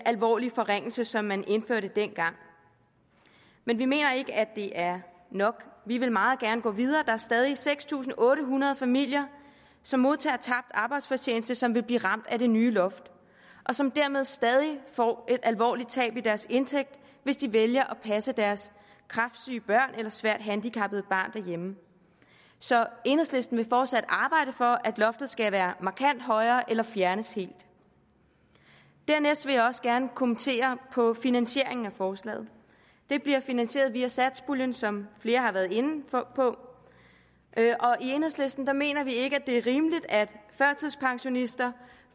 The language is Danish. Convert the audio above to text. alvorlige forringelse som man indførte dengang men vi mener ikke at det er nok vi vil meget gerne gå videre der er stadig seks tusind otte hundrede familier som modtager tabt arbejdsfortjeneste som vil blive ramt af det nye loft og som dermed stadig får et alvorligt tab i deres indtægt hvis de vælger at passe deres kræftsyge barn eller svært handicappede barn derhjemme så enhedslisten vil fortsat arbejde for at loftet skal være markant højere eller fjernes helt dernæst vil jeg også gerne kommentere på finansieringen af forslaget det bliver finansieret via satspuljen som flere har været inde på og i enhedslisten mener vi ikke at det er rimeligt at førtidspensionister